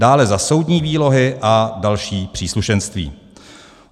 Dále za soudní výlohy a další příslušenství.